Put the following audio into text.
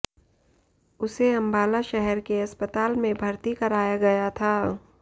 उसे अम्बाला शहर के अस्पताल में भर्ती कराया गया था